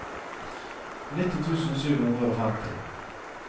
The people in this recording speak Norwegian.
nitti tusen sju hundre og femti